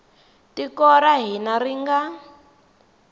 tiko ra hina ri nga